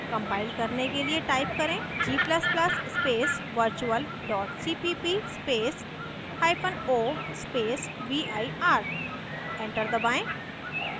compile करने के लिए type करें: g ++ space virtual cpp spaceo space vir enter दबाएं